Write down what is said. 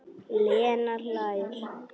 Lena hlær.